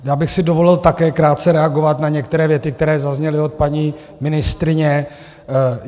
Já bych si dovolil také krátce reagovat na některé věty, které zazněly od paní ministryně.